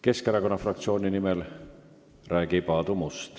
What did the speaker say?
Keskerakonna fraktsiooni nimel räägib Aadu Must.